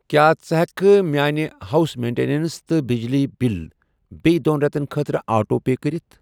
کیٛاہ ژٕ ہٮ۪کہٕ میٲنہِ ہاوُس مینٛٹینَنس تہٕ بِجلی بِل بییٚہِ دۄن رٮ۪تن خٲطرٕ آٹو پے کٔرِتھَ؟